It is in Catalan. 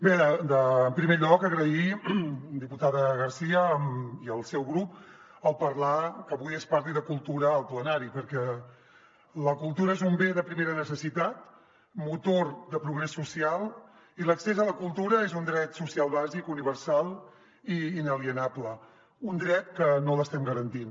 bé en primer lloc agrair diputada garcia i el seu grup que avui es parli de cultura al plenari perquè la cultura és un bé de primera necessitat motor de progrés social i l’accés a la cultura és un dret social bàsic universal i inalienable un dret que no l’estem garantint